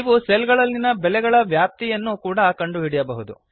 ನೀವು ಸೆಲ್ ಗಳಲ್ಲಿನ ಬೆಲೆಗಳ ವ್ಯಾಪ್ತಿಯನ್ನು ಕೂಡ ಕಂಡುಹಿಡಿಯಬಹುದು